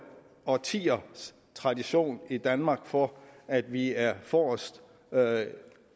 årtiers tradition i danmark for at vi er forrest